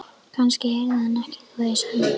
Kannski heyrði hann ekki hvað ég sagði.